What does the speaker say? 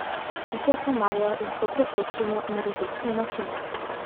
Pike komarjev lahko preprečimo na različne načine.